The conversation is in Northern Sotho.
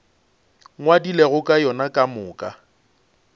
ngwadilego ka yona ka moka